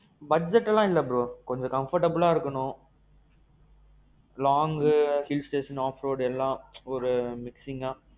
budget எல்லாம் இல்ல bro. கொஞ்சம் comfortableஆ இருக்கணும், long, hill station, off road எல்லாம் ஒரு mixingஅ.